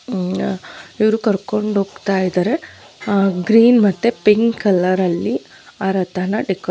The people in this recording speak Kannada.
ಇವರು ಕರ್ಕೊಂಡು ಹೋಗ್ತಾ ಇದ್ದಾರೆ ಅಹ್ ಗ್ರೀನ್ ಮತ್ತೆ ಪಿಂಕ್ ಕಲರ್ ಅಲ್ಲಿ ಆ ರಥನ ಡೆಕೋರೇಟ್ --